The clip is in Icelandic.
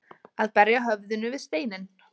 Að berja höfðinu við steininn